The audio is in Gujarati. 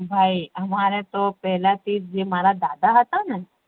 ભાઈ અમારે તો પેહ્લેથીજ જે મારા દાદા હેતા ને